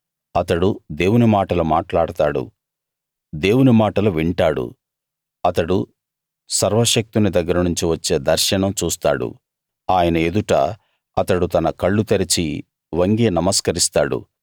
అతడు దేవుని మాటలు మాట్లాడతాడు దేవుని మాటలు వింటాడు అతడు సర్వశక్తుని దగ్గర నుంచి వచ్చే దర్శనం చూస్తాడు ఆయన ఎదుట అతడు తన కళ్ళు తెరిచి వంగి నమస్కరిస్తాడు